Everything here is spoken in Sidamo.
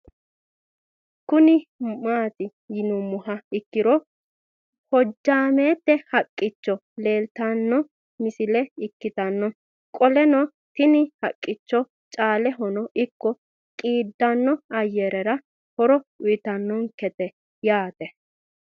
Kuni mati yinumoha ikiro hojamete haqich leelitano missile ikitana qoleno tini haqicho caalehino iko qidado ayerera horo uyitanonk ete yaate